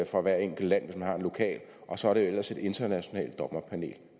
fra hvert enkelt land hvis man har en lokal og så er det ellers et internationalt dommerpanel